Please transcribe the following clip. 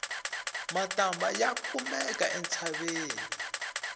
matambha ya kumeka entshaveni